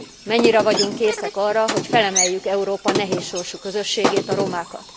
Mennyire vagyunk készek arra, hogy felemeljük Európa nehéz sorsú közösségét, a romákat?